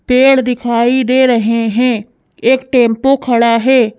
पेड़ दिखाई दे रहे हैं एक टेम्पो खड़ा है।